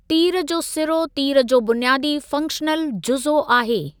तीर जो सिरो तीर जो बुनियादी फ़ंक्शनल जुज़ो आहे।